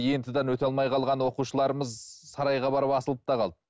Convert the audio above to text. ент дан өте алмай қалған оқушыларымыз сарайға барып асылып та қалды